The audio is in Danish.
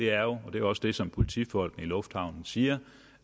er jo og det er også det som politifolk i lufthavnen siger